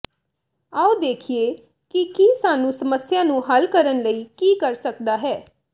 ਆਓ ਦੇਖੀਏ ਕਿ ਕੀ ਸਾਨੂੰ ਸਮੱਸਿਆ ਨੂੰ ਹੱਲ ਕਰਨ ਲਈ ਕੀ ਕਰ ਸਕਦਾ ਹੈ